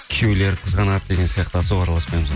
күйеулері қызғанады деген сияқты особо араласпаймыз